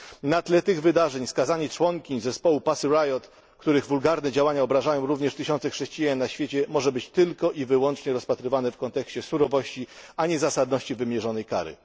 Na tle tych wydarzeń skazanie członkiń zespołu Pussy Riot, których wulgarne działania obrażają również tysiące chrześcijan na świecie, może być tylko i wyłącznie rozpatrywane w kontekście surowości, a nie zasadności wymierzonej kary.